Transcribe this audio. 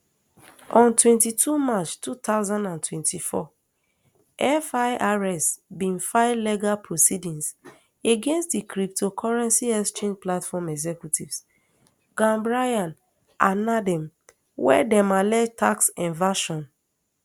on twenty-two march two thousand and twenty-four firs bin file legal proceedings against di cryptocurrency exchange platform executives gambaryan and nadeem wia dem allege tax evasion